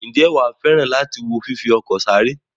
Ǹjẹ́ wà á fẹ́ràn láti wo fífi ọkọ̀ sáré?